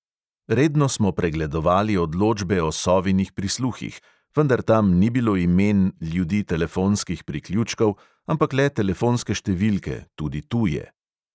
Redno smo pregledovali odločbe o sovinih prisluhih, vendar tam ni bilo imen ljudi telefonskih priključkov, ampak le telefonske številke, tudi tuje.